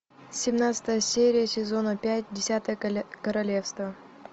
семнадцатая серия сезона пять десятое королевство